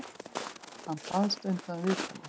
Hann baðst undan viðtali.